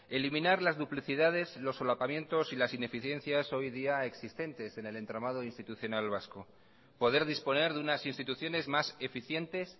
eliminar las duplicidades los solapamientos y las ineficiencias hoy día existentes en el entramado institucional vasco poder disponer de unas instituciones más eficientes